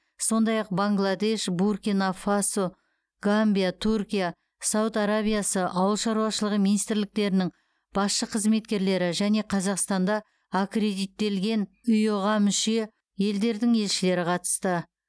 сондай ақ бангладеш буркина фасо гамбия түркия сауд арабиясы ауыл шаруашылығы министрліктерінің басшы қызметкерлері және қазақстанда аккредиттелген иыұ ға мүше елдердің елшілері қатысты